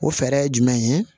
O fɛɛrɛ ye jumɛn ye